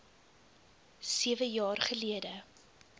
sewe jaar gelede